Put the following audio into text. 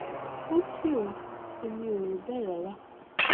ó tì o èmi ò rò bẹẹ rara